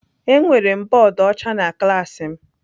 Enwere m bọọdụ ọcha na klaasị m.